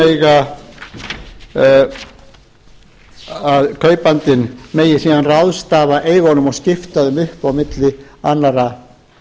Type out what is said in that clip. til þess að kaupandinn megi síðan ráðstafa eigunum og skipta þeim upp á milli annarra